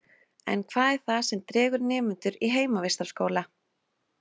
En hvað er það sem dregur nemendur í heimavistarskóla?